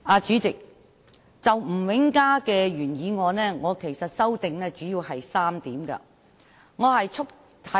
主席，就吳永嘉議員的原議案，我主要提出了3項修正。